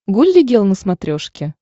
гулли гел на смотрешке